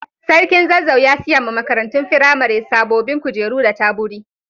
Sarkin Zazzau ya siya ma makarantun firamare sabobin kujeru da taburi.